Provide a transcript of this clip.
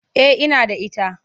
Eh ina da ita.